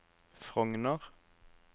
Frogner